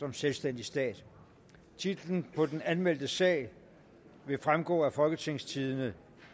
en selvstændig stat titlen på den anmeldte sag vil fremgå af folketingstidende